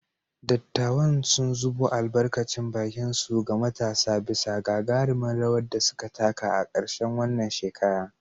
Dattawan sun zubo albarkacin bakinsu ga matasa bisa gagarumin rawar da suka taka a karshen wannan shekara.